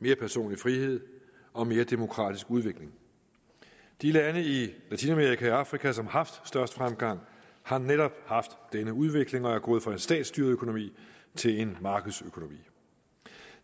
mere personlig frihed og mere demokratisk udvikling de lande i latinamerika og afrika som har haft størst fremgang har netop haft denne udvikling og er gået fra en statsstyret økonomi til en markedsøkonomi